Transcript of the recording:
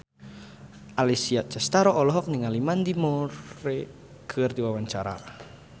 Alessia Cestaro olohok ningali Mandy Moore keur diwawancara